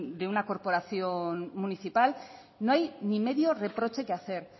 de una corporación municipal no hay ni medio reproche que hacer